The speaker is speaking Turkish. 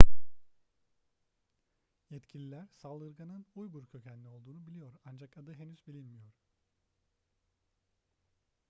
yetkililer saldırganın uygur kökenli olduğunu biliyor ancak adı henüz bilinmiyor